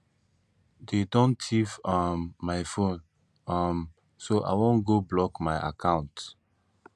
dey don thief um my phone um so i wan go block my accounts